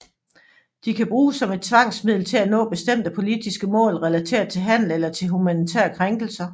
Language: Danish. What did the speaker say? De kan bruges som et tvangsmiddel til at nå bestemte politiske mål relateret til handel eller til humanitære krænkelser